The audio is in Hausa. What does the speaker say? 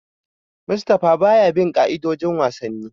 Mustapha baya bin ka'idojin wasanni.